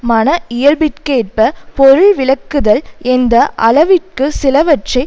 மன இயல்பிற்கேற்ப பொருள்விளக்குதல் எந்த அளவிற்கு சிலவற்றை